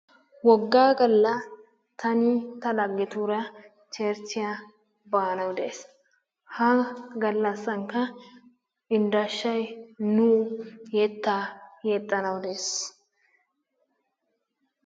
Woggaa gala tanni ta lageturaa cherchiyaa banawu de'aysi, ha galasannikka indashay yettaa yexanawu dees